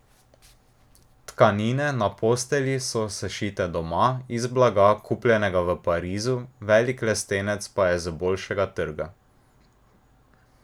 Tkanine na postelji so sešite doma, iz blaga, kupljenega v Parizu, velik lestenec pa je z bolšjega trga.